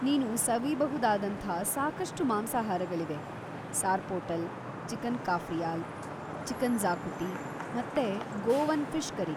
ನೀನು ಸವಿಬಹುದಾದಂಥ ಸಾಕಷ್ಟು ಮಾಂಸಾಹಾರಗಳಿವೆ, ಸಾರ್ಪೊಟಲ್‌, ಚಿಕನ್‌ ಕಾಫ್ರಿಯಾಲ್‌, ಚಿಕನ್‌ ಜ಼ಾಕುಟಿ ಮತ್ತೆ ಗೋವನ್‌ ಫಿಷ್‌ ಕರಿ.